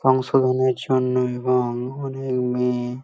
function -এর জন্য এবং অনেক মেয়ে--